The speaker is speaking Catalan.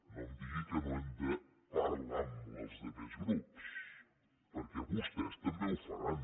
no em digui que no hem de parlar amb els altres grups perquè vostès també ho faran